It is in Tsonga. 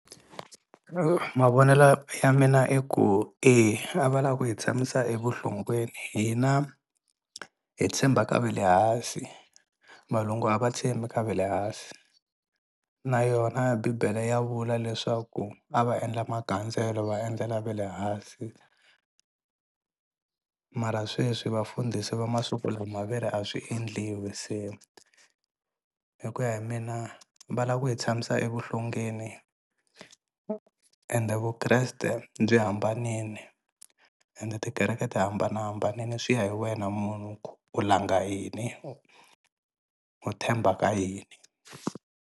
mavonelo ya mina i ku a va lava ku hi tshamisa evuhlongeni hina hi tshemba ka ve le hansi valungu a va tshembi ka ve le hansi na yona bibele ya vula leswaku a va endla magandzelo va endlela ve le hansi mara sweswi vafundhisi va masiku lama ve ri a swi endliwi se hi ku ya hi mina va lava ku hi tshamisa evuhlongeni ende Vukreste byi hambanini ende tikereke ti hambanahambanini swi ya hi wena munhu ku u langa yini u themba ka yini.